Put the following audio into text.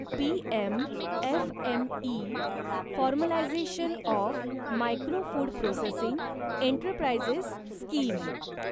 PM FME formalisation of micro food processing enterprises scheme